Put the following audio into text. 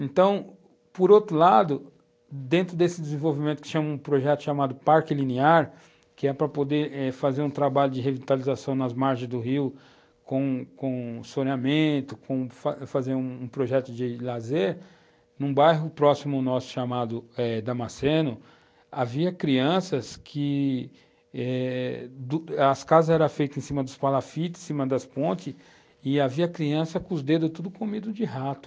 Então, por outro lado, dentro desse desenvolvimento que se chama, um projeto chamado Parque Linear, que é para poder fazer eh um trabalho de revitalização nas margens do rio com com soneamento, fazer um projeto de lazer, num bairro próximo nosso chamado eh Damaceno, havia crianças que... As casas eram feitas em cima dos palafites, em cima das pontes, e havia crianças com os dedos tudo comidos de rato.